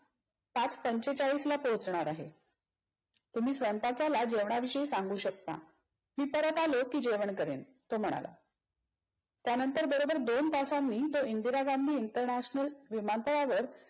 पाच पंचेचाळीसला पोचणार आहे. तुम्ही स्वयंपाकाला जेवणा विषयी सांगू शकता. मी परत आलो की जेवण करेन. तो म्हणाला. त्यानंतर बरोबर दोन तासांनी तो इंदिरा गांधी इंटरनॅशनल विमानतळावर